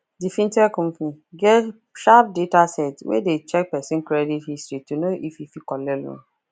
d fintech company get sharp data set wey dey check person credit history to know if e fit collect loan